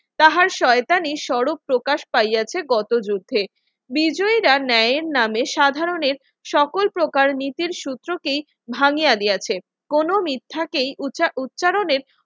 তাহার শয়তানি স্বরূপ প্রকাশ পাইয়াছে কত যুদ্ধে বিজয়রা ন্যায়ের নামে সাধারণের সকল প্রকার নীতির সূত্র কি ভাঙ্গিয়ে দিয়েছে কোন মিথ্যাকে উচ্চারণের